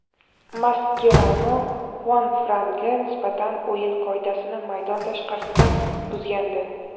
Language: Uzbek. Maskerano Xuanfranga nisbatan o‘yin qoidasini maydon tashqarisida buzgandi.